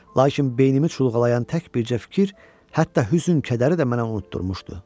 Lakin beynimi çulğalayan tək bircə fikir, hətta hüzn-kədəri də mənə unutdurmuşdu.